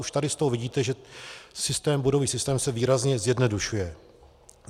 Už tady z toho vidíte, že bodový systém se výrazně zjednodušuje.